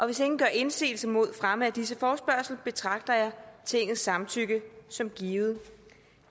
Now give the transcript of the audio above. hvis ingen gør indsigelse mod fremme af disse forespørgsler betragter jeg tingets samtykke som givet